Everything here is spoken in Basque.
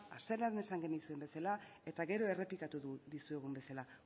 hasieran esan genizuen bezala eta gero errepikatuko dizuegun bezala